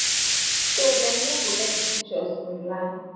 so dem no go share di pictures online